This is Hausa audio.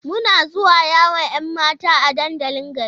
Muna zuwa yawon 'yan mata a dandalin garin.